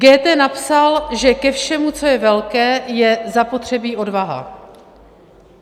Goethe napsal, že ke všemu, co je velké, je zapotřebí odvaha.